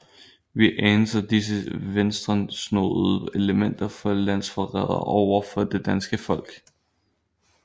Vi anser disse venstresnoede elementer for landsforrædere over for det danske folk